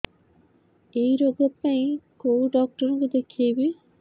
ଏଇ ରୋଗ ପାଇଁ କଉ ଡ଼ାକ୍ତର ଙ୍କୁ ଦେଖେଇବି